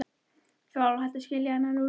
Ég er alveg hætt að skilja hann Lúlla.